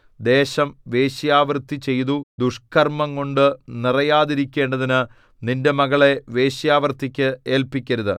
ദേശം വേശ്യാവൃത്തി ചെയ്തു ദുഷ്കർമ്മംകൊണ്ടു നിറയാതിരിക്കേണ്ടതിനു നിന്റെ മകളെ വേശ്യാവൃത്തിക്ക് ഏല്പിക്കരുത്